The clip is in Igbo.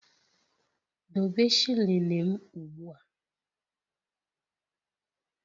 Dobe shilling m ugbua.!